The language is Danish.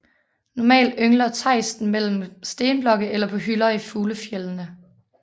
Normalt yngler tejsten mellem stenblokke eller på hylder i fuglefjeldene